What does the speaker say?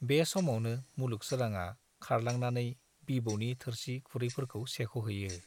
बे समावनो मुलुग सोराङा खारलांना नै बिबौनि थोरसि-खुरैफोरखौ सेख'हैयो।